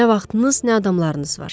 Nə vaxtınız, nə adamlarınız var.